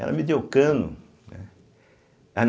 Ela me deu cano, né.